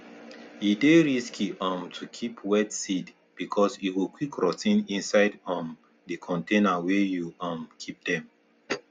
e dey risky um to keep wet seed because e go quick rot ten inside um di container wey you um keep dem